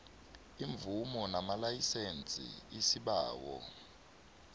iimvumo namalayisense isibawo